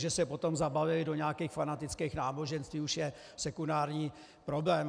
Že se potom zabalily do nějakých fanatických náboženství, je už sekundární problém.